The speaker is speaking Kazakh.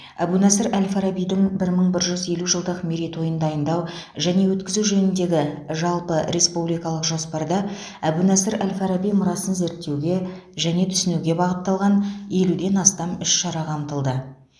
әбу насыр әл фарабидің бір мың бір жүз елу жылдық мерейтойын дайындау және өткізу жөніндегі жалпыреспубликалық жоспарда әбу насыр әл фараби мұрасын зерттеуге және түсінуге бағытталған елуден астам іс шара қамтылды